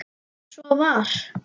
Svo var.